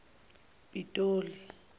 pitoli